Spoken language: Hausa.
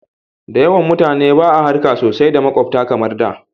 Da yawan mutane ba a harka sosai da makwabta kamar da